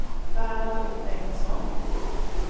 Bernhard Bengtsson